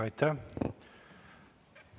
Aitäh!